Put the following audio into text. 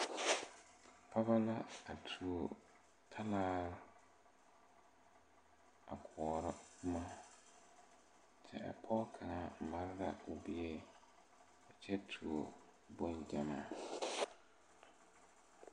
Pɔgɔ la a tuo talaare a koɔrɔ boma kyɛ a pɔge kaŋa mare la o bie a kyɛ tuo bon gyamaa.